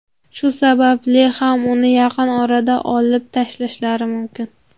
Shu sababli ham uni yaqin orada olib tashlashlari mumkin.